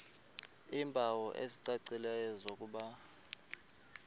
iimpawu ezicacileyo zokuba